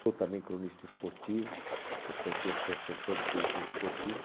Sou também cronista esportivo, sou pertenço à Associação dos Cronistas Esportivos.